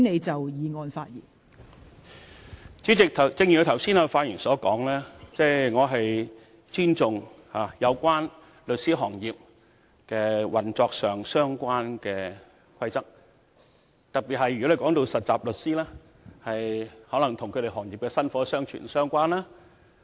代理主席，正如我剛才發言時所說，我尊重與律師行業運作相關的規則，特別是涉及實習律師的規則，因為可能與該行業的薪火相傳相關。